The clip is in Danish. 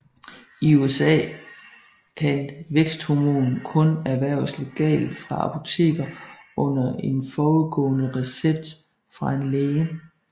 I USA kan væksthormon kun erhverves legalt fra apoteker under en forudgående recept fra en læge